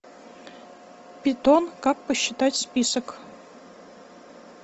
питон как посчитать список